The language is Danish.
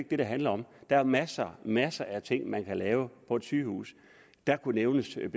det det handler om der er masser masser af ting man kan lave på et sygehus der kunne nævnes en